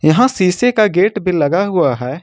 यहां शीशे का गेट पे लगा हुआ है।